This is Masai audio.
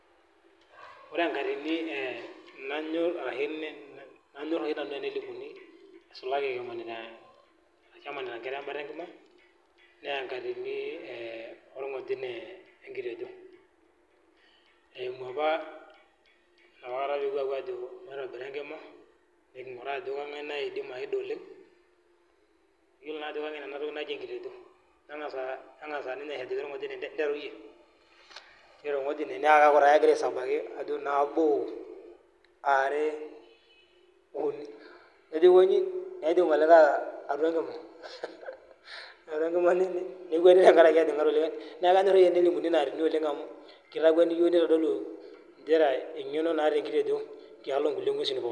Wore enkatini nanyorr arashu nanyorr oshi nanu teninosuni, nisulaki emanita nematia inkera embata enkima, naa enkatini worngojine wenkitejo. Eimu apa enapakata pee epuo aajo maitobira enkima, pee kinguraa ajo kangae naidim aida oleng', iyiolo naa ajo kengen enatoki najo enkitejo. Nengasa ninye ajoki orngojine nteru iyie, niteru orngojine naa keeku taa kekira aisabaki ajo nabo, are, uni, nejo aikonyi nejing olikae atua enkima, nekuenu tenkaraki etijinga likae atua enkima, neeku kanyor oshi tenelimuni inaatini oleng' amu kitakweni iyiok nitodolu nchere engeno naata enkitejo tialo inkulie ngwesin pookin